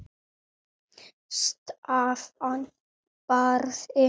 Stefán Barði.